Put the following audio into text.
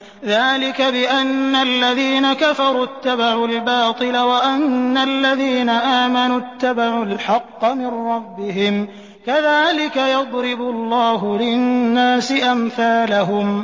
ذَٰلِكَ بِأَنَّ الَّذِينَ كَفَرُوا اتَّبَعُوا الْبَاطِلَ وَأَنَّ الَّذِينَ آمَنُوا اتَّبَعُوا الْحَقَّ مِن رَّبِّهِمْ ۚ كَذَٰلِكَ يَضْرِبُ اللَّهُ لِلنَّاسِ أَمْثَالَهُمْ